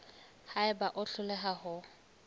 ha eba o hloleha ho